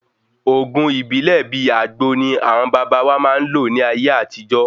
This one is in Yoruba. Òògùn ibilẹ bìí àgbo ní àwọn baba wá máa ń lò ní ayé àtijó